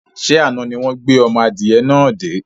Ṣé àna ni wọn gbé ọmọ adìyẹ náà dé?